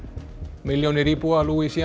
milljónir íbúa